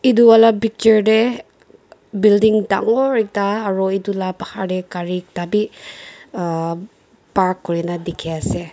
edu wala picture tae building dangor ekta aru edu la bahar tae gari ekta bi ahh park kurina dikhiase.